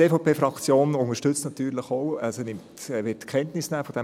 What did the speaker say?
Die EVP-Fraktion wird natürlich von diesem Bericht auch Kenntnis nehmen.